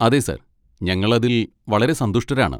അതെ സർ, ഞങ്ങൾ അതിൽ വളരെ സന്തുഷ്ടരാണ്.